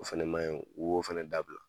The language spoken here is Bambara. O fɛnɛ maɲi o ko fɛnɛ dabila